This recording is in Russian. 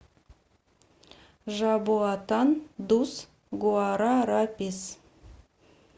жабоатан дус гуарарапис